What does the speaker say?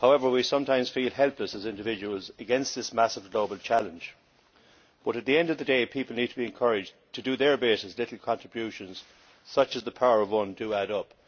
We sometimes feel helpless as individuals against this massive global challenge but, at the end of the day, people need to be encouraged to do their bit, as little contributions such as the Power of One' do add up.